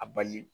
A bali